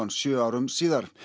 sjö árum síðar